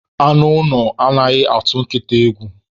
Anụ ụlọ anaghị atụ nkịta egwu